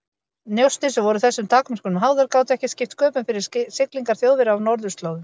Njósnir, sem voru þessum takmörkunum háðar, gátu ekki skipt sköpum fyrir siglingar Þjóðverja á norðurslóðum.